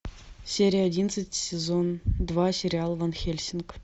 серия одиннадцать сезон два сериал ван хельсинг